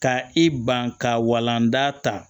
Ka i ban ka walan da ta